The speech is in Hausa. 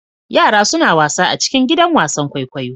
Yara suna wasa a cikin gidan wasan kwaikwayo.